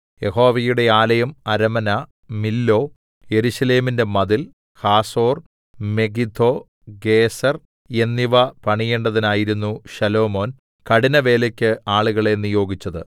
യഹോവയുടെ ആലയം അരമന മില്ലോ യെരൂശലേമിന്റെ മതിൽ ഹാസോർ മെഗിദ്ദോ ഗേസെർ എന്നിവ പണിയേണ്ടതിനായിരുന്നു ശലോമോൻ കഠിനവേലക്ക് ആളുകളെ നിയോഗിച്ചത്